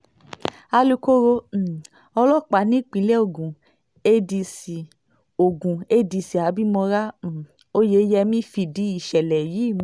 alukóró um ọlọ́pàá nípìnlẹ̀ ogun adc ogun adc abimora um oyeyemí fìdí ìṣẹ̀lẹ̀ yìí